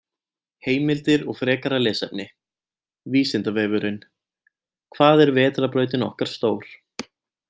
Heimildir og frekara lesefni: Vísindavefurinn: Hvað er vetrarbrautin okkar stór?